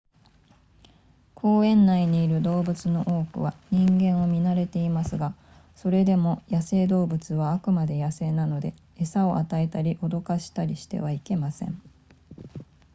公園内にいる動物の多くは人間を見慣れていますがそれでも野生動物はあくまで野生なので餌を与えたり驚かしたりしてはいけません